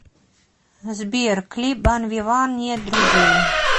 сбер клип банвиван нет друзей